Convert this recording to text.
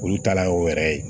Olu taalan ye o yɛrɛ ye